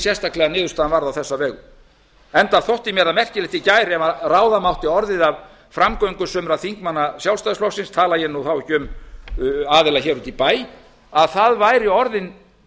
sérstaklega að niðurstaðan varð á þessa vegu enda þótti mér það merkilegt í gær ef ráða mátti orðið af framgöngu sumra þingmanna sjálfstæðisflokksins tala ég þá ekki um aðila úti í bæ að það væri orðin